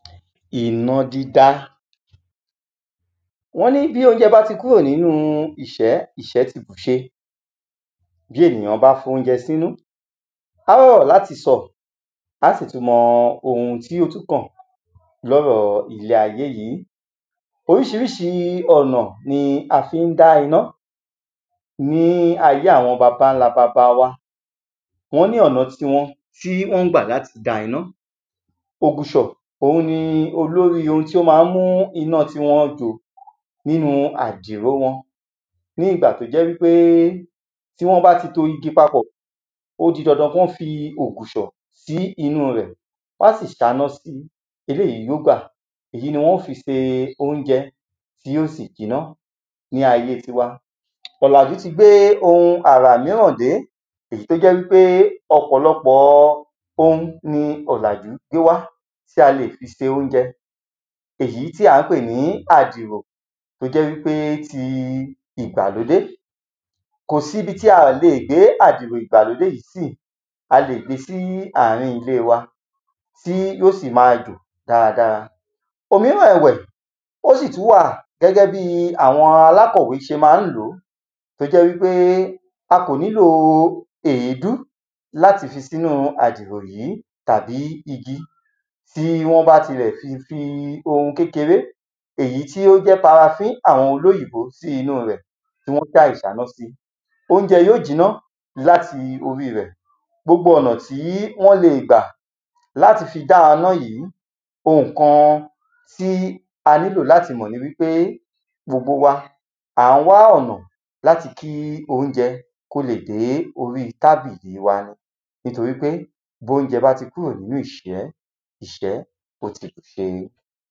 iná dídá. wọ́n ní bí oúnjẹ bá ti kúrò nínúu ìṣẹ́, ìṣẹ́ ti bùṣe. bí ènìyán bá foóunjẹ sínú, á rọ́rọ̀ láti sọ, á sì tún mọ ohun tí ó tún kàn lọ́rọ̀ọ ilé ayé yí. oríṣiríṣi ọ̀nà ni a fi ń dá iná ní ayé àwọn baba ńláa baba wa, wọ́n ni ọ̀na ti wọn tí wọ́n gbà láti dá iná. ògùṣọ̀, òun ni olóríi ohun tí ó ma ń mú ináa tí wọn jò nínu àdìròo wọn, ní ìgbà tó jẹ́ wípé tí wọ́n bá ti to igi papọ̀, ó di dandan kán fi ògùṣọ̀ sí inúu rẹ̀, wán sì ṣáná si, èléyìí yíó sì gbà, èyí ni wọn ó fi se oúnjẹ tí yíò sì jiná. ní ayée tíwa, ọ̀làjú tí gbé ohun àrà míràn dé èyí tó jẹ́ wípé ọ̀pọ̀lọpọ̀ọ ohun ni ọ̀làjú gbé wá tí a leè fi se óunjẹ, èyí tí à ń pè ní àdìrò tó jẹ́ wípé ti ìgbàlódé. kòsí ibi tí a ò le gbé àdìro ìgbàlódé yìí síì, a leè gbe sí àárín ilée wà tí yíò sì máa jò dáradára. òmíràn ẹ̀wẹ̀, ó sì tún wà gbẹ́gbẹ́ bíi àwọn alákọ̀wé ṣe ma ń lòó, tó jẹ́ wípé a kò nílòo èédú láti fi sínúu àdìrò yí, tàbí igi, tí wọ́n bá ti lẹ̀ ti fi ohun kékeré èyí ó jẹ́ parafí àwọn olóyìnbó sí inúu rẹ̀, tí wọ́n ṣá ìṣáná si, óunjẹ yíò jiná láti oríi rẹ̀. gbogbo ọ̀nà tí wọ́n leè gbà láti fi dá iná yìí, ohùn kan tí a níló láti mọ̀ ni wípé, gbogbo wà, à ń wá ọ̀nà láti kí oúnjẹ kó leè dé oríi tábìlì wa ni, nítorí pé bónjẹ bá ti kúrò nínú ìṣẹ́, ìṣẹ́ ó ti bùṣe.